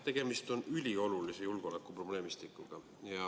Tegemist on üliolulise julgeolekuprobleemistikuga.